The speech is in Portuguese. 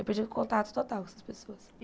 Eu perdi o contato total com essas pessoas.